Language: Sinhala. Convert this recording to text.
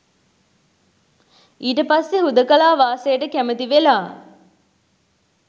ඊට පස්සේ හුදෙකලා වාසයට කැමති වෙලා